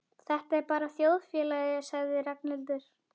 Þetta er bara þjóðfélagið sagði Ragnhildur.